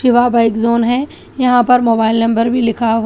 वह bike zone है यहां पर मोबाइल नंबर भी लिखा हुआ--